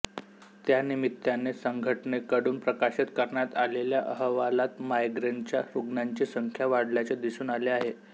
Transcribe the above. त्यानिमित्ताने संघटनेकडून प्रकाशित करण्यात आलेल्या अहवालात मायग्रेनच्या रुग्णांची संख्या वाढल्याचे दिसून आले आहे